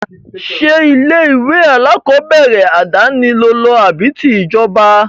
Ṣé ilé-ìwé alákọọ́bẹ̀rẹ̀ àdáni lo lọ àbí ti ìjọba?